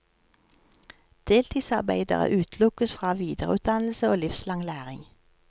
Deltidsarbeidere utelukkes fra videreutdannelse og livslang læring.